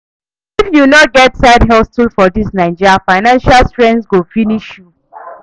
If you no get side hustle for dis Naija, financial strain go finish you.